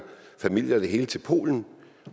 familie og det hele til polen